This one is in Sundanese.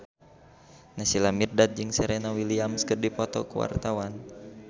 Naysila Mirdad jeung Serena Williams keur dipoto ku wartawan